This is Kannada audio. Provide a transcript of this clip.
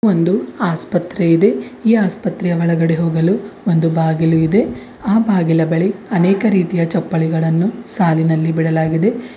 ಒಂದು ಆಸ್ಪತ್ರೆ ಇದೆ ಈ ಆಸ್ಪತ್ರೆಯ ಒಳಗಡೆ ಹೋಗಲು ಒಂದು ಬಾಗಿಲು ಇದೆ ಆ ಬಾಗಿಲ ಬಳಿ ಅನೇಕ ರೀತಿಯ ಚಪ್ಪಲುಗಳನ್ನು ಸಾಲಿನಲ್ಲಿ ಬಿಡಲಾಗಿದೆ.